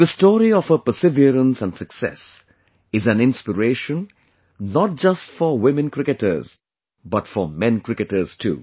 The story of her perseverance and success is an inspiration not just for women cricketers but for men cricketers too